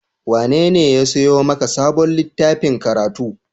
Wanene ya sayo maka sabon littafin karatu?